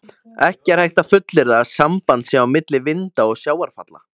Ekki er hægt að fullyrða að samband sé á milli vinda og sjávarfalla.